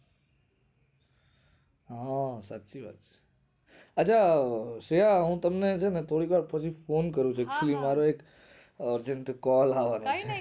હા સાચી વાત છે હા શ્રેયા હું તમને થોડીક વાર પછી વાત કરું મારે એક urgent call આવે છે